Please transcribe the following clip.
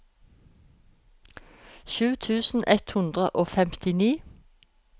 sju tusen ett hundre og femtini